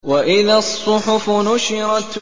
وَإِذَا الصُّحُفُ نُشِرَتْ